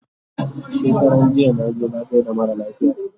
shekaranjiya naje na gaida mara lafiya